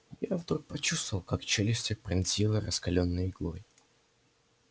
я вдруг почувствовал как челюсти пронзило раскалённой иглой